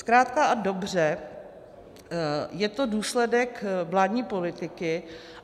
Zkrátka a dobře je to důsledek vládní politiky.